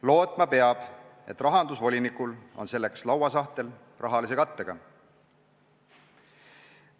Lootma peab, et rahandusvolinikul on selleks lauasahtel rahalise kattega.